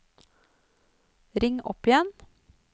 ring opp igjen